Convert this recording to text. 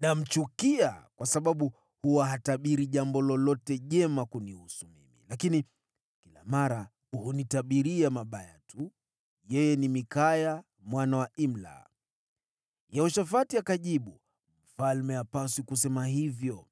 namchukia kwa sababu huwa hatabiri jambo lolote jema kunihusu mimi, lakini kila mara hunitabiria mabaya tu. Yeye ni Mikaya mwana wa Imla.” Yehoshafati akajibu, “Mfalme hapaswi kusema hivyo.”